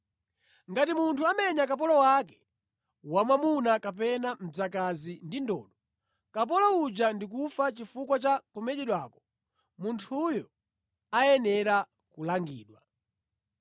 “Ngati munthu amenya kapolo wake wamwamuna kapena mdzakazi ndi ndodo, kapolo uja ndikufa chifukwa cha kumenyedwako, munthuyo ayenera kulangidwa.